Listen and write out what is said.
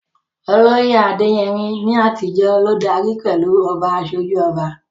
Olóyè Adeyemi, ní àtijọ́, ló darí pẹ̀lú "Oba Asoju Oba."